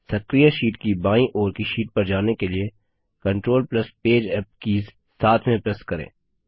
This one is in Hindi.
सक्रिय शीट की बाईं ओर की शीट पर जाने के लिए control plus page up keys साथ में प्रेस करें